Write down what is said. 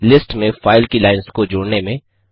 एक लिस्ट में फ़ाइल की लाइन्स को जोड़ने में